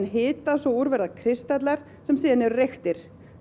hitað svo úr verða kristallar sem síðan eru reyktir